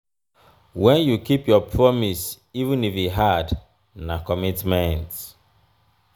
wen you keep your promise even if e hard na commitment.